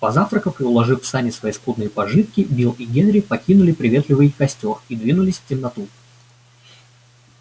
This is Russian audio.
позавтракав и уложив в сани свои скудные пожитки билл и генри покинули приветливый костёр и двинулись в темноту